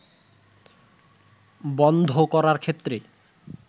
বন্ধ করার ক্ষেত্রে